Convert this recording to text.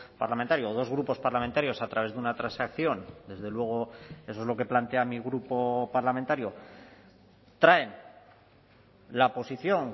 parlamentario o dos grupos parlamentarios a través de una transacción desde luego eso es lo que plantea mi grupo parlamentario traen la posición